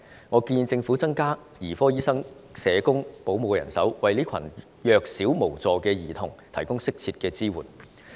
我建議政府增加兒科醫生、社工和保姆的人手，為這群弱小無助的兒童提供適切的支援。